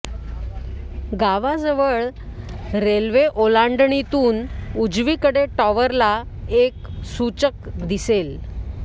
गावा जवळ रेल्वे ओलांडणीतून उजवीकडे टॉवरला एक सूचक दिसेल